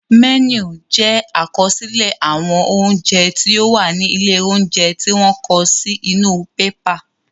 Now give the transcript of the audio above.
Mẹ́nù jẹ àkọsílẹ̀ àwọn oúnjẹ tí ó wà ní ilé óúnjẹ tí wọ́n kọ sí inú bébà